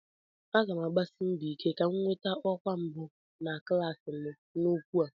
M ga-agbasi mbọ ike ka m nweta ọkwa mbụ na klas m n'okwu a.